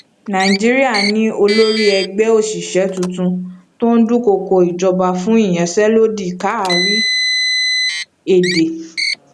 nàìjíríà ní olórí ẹgbẹ oṣiṣẹ tuntun tó dúnkókò ìjọba fún iyanse lodi kárí èdè